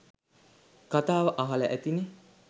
කතාව අහල ඇතිනේ